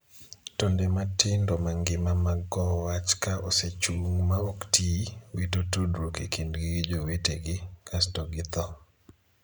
Tonde matindo mangima mag kowo wach ka osechung' ma ok tii, wito tudruok e kindgi gi jowetegi, kasto githoo.